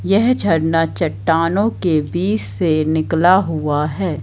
यह झरना चट्टानो की बीच से निकला हुआ है।